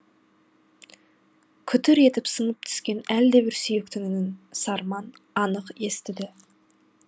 күтір етіп сынып түскен әлдебір сүйектің үнін сарман анық естіді